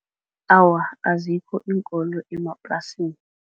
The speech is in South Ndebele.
Awa, azikho iinkolo emaplasini.